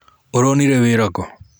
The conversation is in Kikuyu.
ũronire wĩra kũ?